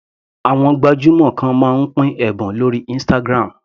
Àwọn gbajúmọ̀ kan máa ń pín ẹ̀bùn lórí Instagram.